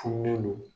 Fununnen don